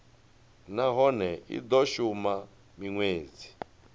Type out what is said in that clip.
nahone i do shuma minwedzi